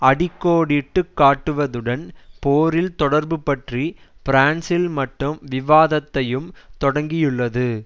அடி கோடிட்டு காட்டுவதுடன் போரில் தொடர்பு பற்றி பிரான்சில் மட்டும் விவாதத்தையும் தொடக்கியுள்ளது